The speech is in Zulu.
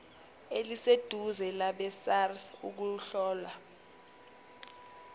eliseduze labesars ukuhlola